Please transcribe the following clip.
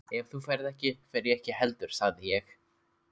Ef þú ferð ekki, fer ég ekki heldur sagði ég.